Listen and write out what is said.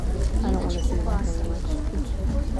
ниночки басовой